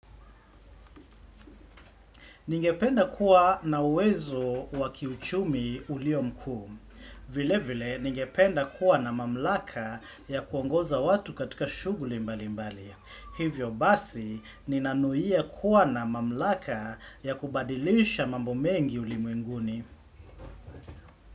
Ningependa kuwa na uwezo wa kiuchumi ulio mkuu. Vile vile, ningependa kuwa na mamlaka ya kuongoza watu katika shughuli mbali mbali. Hivyo basi, ninanuia kuwa na mamlaka ya kubadilisha mambo mengi ulimwenguni.